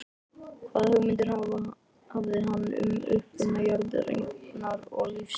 Hvaða hugmyndir hafði hann um uppruna jarðarinnar og lífsins?